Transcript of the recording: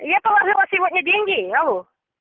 я положила сегодня деньги алло